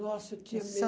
Nossa, eu tinha